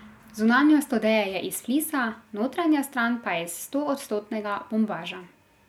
Zunanjost odeje je iz flisa, notranja stran pa je iz stoodstotnega bombaža.